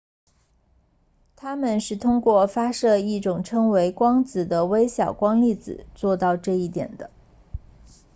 它们是通过发射一种被称为光子的微小光粒子做到这一点的